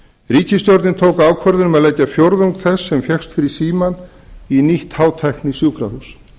ríkisstjórnin tók ákvörðun um að leggja fjórðung þess sem fékkst fyrir símann í nýtt hátæknisjúkrahús